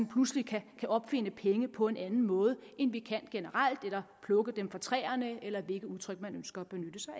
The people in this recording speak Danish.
pludselig kan opfinde penge på en anden måde end vi generelt kan eller plukke dem af træerne eller hvilket udtryk man ønsker